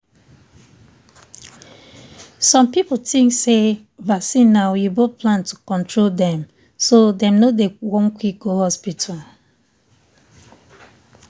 some people think say vaccine na oyibo plan to control dem so dem no dey one quick go hospital.